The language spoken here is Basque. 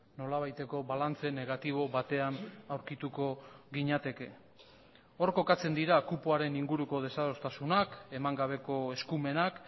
nolabaiteko balantze negatibo batean aurkituko ginateke hor kokatzen dira kupoaren inguruko desadostasunak eman gabeko eskumenak